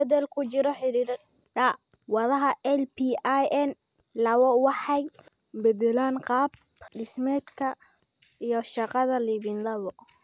Isbeddellada ku jira hidda-wadaha LPIN lawowaxay beddelaan qaab-dhismeedka iyo shaqada lipin lawo